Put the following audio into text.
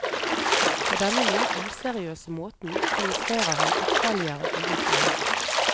På denne noe useriøse måten demonstrerer han ytterligere uvitenhet.